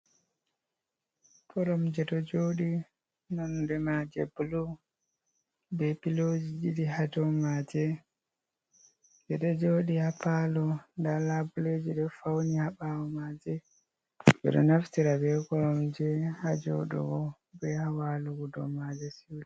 Korom je ɗo joɗi nonɗe maje bulo. Be piloji ɗiɗi ha ɗow maje. Beɗo joɗi ha palo. Nɗa labuleji ɗo fauni ha bawo maje. Be ɗo naftira be korom je ha joɗugo be ha walugo ɗow maje siuta.